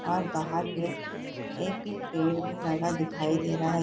और बाहर पे एक पेड़ भी लगा दिखाई दे रहा है।